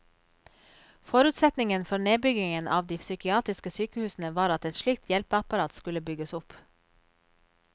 Forutsetningen for nedbyggingen av de psykiatriske sykehusene var at et slikt hjelpeapparat skulle bygges opp.